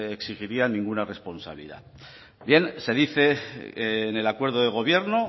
exigiría ninguna responsabilidad bien se dice en el acuerdo de gobierno